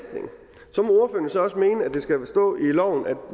det skal stå i loven